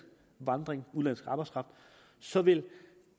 arbejdskraft så vil